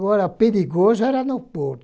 Agora, perigoso era no